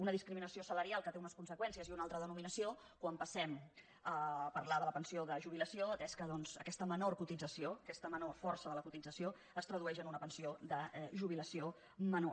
una discriminació salarial que té unes conseqüències i una altra denominació quan passem a parlar de la pensió de jubilació atès que doncs aquesta menor cotització aquesta menor força de la cotització es tradueix en una pensió de jubilació menor